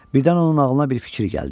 Birdən onun ağlına bir fikir gəldi.